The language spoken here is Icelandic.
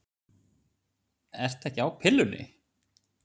Ertu ekki á pillunni?